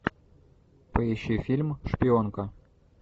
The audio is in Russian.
поищи фильм шпионка